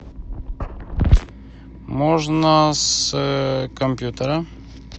можно с компьютера